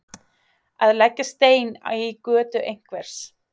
Að leggja stein í götu einhvers